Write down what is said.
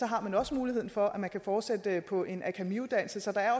har man også muligheden for at man kan fortsætte på en akademiuddannelse så der er